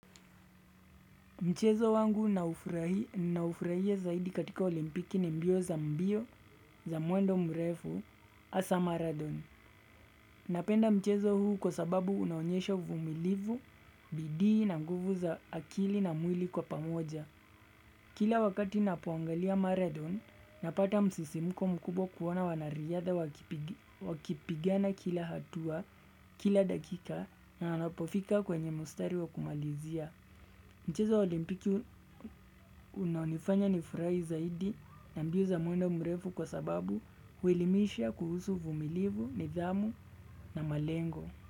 Mchezo wangu ninaoufurahia zaidi katika olimpiki ni mbio za mbio za muendo mrefu hasa Marathon. Napenda mchezo huu kwa sababu unaonyesha uvumilivu, bidii na nguvu za akili na mwili kwa pamoja. Kila wakati ninapoangalia Marathon, napata msisimuko mkubwa kuona wanariyadha wakipigana kila hatua kila dakika na anapofika kwenye mustari wa kumalizia. Mchezo wa olimpiki unanifanya nifurahi zaidi na mbio za mwendo mrefu kwa sababu huelimisha kuhusu uvumilivu, nidhamu na malengo.